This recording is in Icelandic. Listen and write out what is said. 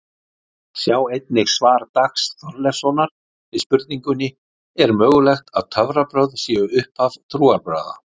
Sjá einnig svar Dags Þorleifssonar við spurningunni Er mögulegt að töfrabrögð séu upphaf trúarbragða?